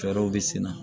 Fɛɛrɛw bɛ senna